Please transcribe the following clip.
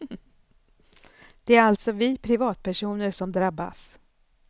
Det är alltså vi privatpersoner som drabbas.